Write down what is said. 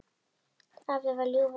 Afi var ljúfur og góður.